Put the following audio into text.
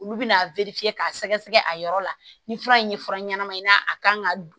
Olu bɛna k'a sɛgɛ sɛgɛ a yɔrɔ la ni fura in ye fura ɲɛnama ye a kan ka don